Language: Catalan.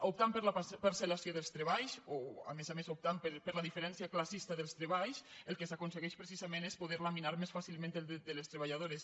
optant per la parceltreballs o a més a més optant per la diferència clas·sista dels treballs el que s’aconsegueix precisament és poder laminar més fàcilment el dret de les treballado·res